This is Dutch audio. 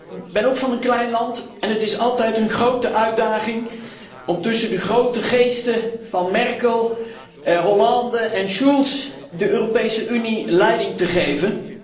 Ook ik kom uit een klein land en het is altijd een grote uitdaging om tussen de grote geesten van Merkel, Hollande en Schulz de Europese Unie leiding te geven.